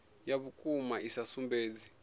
ya vhukuma i sa sumbedzi